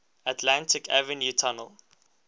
atlantic avenue tunnel